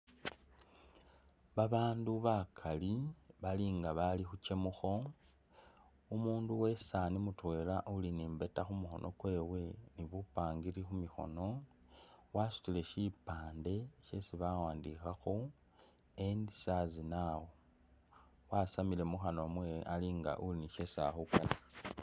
Babandu bakaali bali nga abali khukyamukho, umundu uwesaani mutwela uli ni mbeeta khumukhono kwewe ni bupangiri khumikhono wasutile shipande shesi bawandikhakho END SARS NOW wasamIile mukhanwa mwewe ali nga uli ni shesi ali khukanikha.